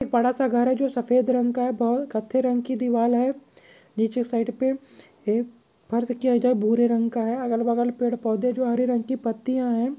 एक बड़ा सा घर है। जो सफ़ेद रंग का है। बो कत्ते रंग की दीवार है। नीचे साइड पे एक फर्ज का भूरे रंग का है। अगल बगल पेड़ पौधे जो हरे रंग की पत्तिया है।